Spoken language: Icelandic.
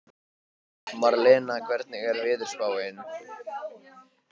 Marlena, hvernig er veðurspáin?